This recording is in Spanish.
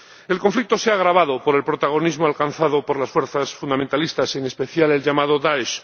El conflicto se ha agravado por el protagonismo alcanzado por las fuerzas fundamentalistas, en especial el llamado Daesh.